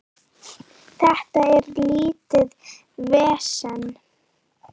Þetta er lítið vesen.